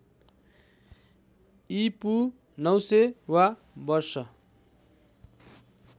ईपू ९०० वा वर्ष